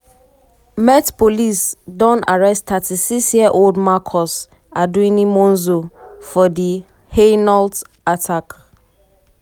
met police don arrest 36-year-old marcus arduini monzo monzo for di hainault attack.